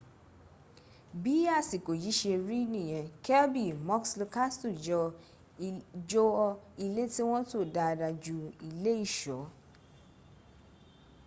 bí àsìkò yìí ṣe rí nìyẹn kirby muxloe castle jọ ilé tí wọ́n tò dáadáa ju ilé ìṣọ́ l